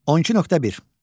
12.1.